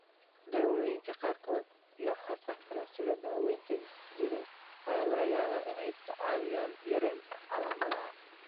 Daawooyinka qaarkood iyo hababka kale, sida daaweynta jireed, ayaa laga yaabaa inay kaa caawiyaan yaraynta calaamadaha.